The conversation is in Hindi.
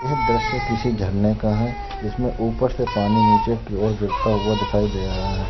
यह दृश्य किसी झरने का है जिसमें ऊपर से पानी नीचे की ओर गिरता हुआ दिखाई दे रहा है।